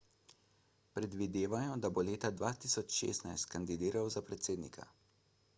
predvidevajo da bo leta 2016 kandidiral za predsednika